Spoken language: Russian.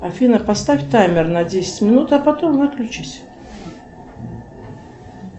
афина поставь таймер на десять минут а потом выключись